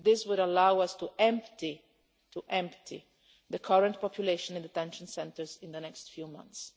This would allow us to empty-to empty-the current population in the detention centres in the next few months.